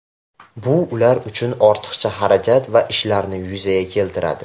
Bu ular uchun ortiqcha xarajat va ishlarni yuzaga keltiradi.